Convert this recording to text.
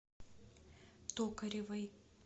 токаревой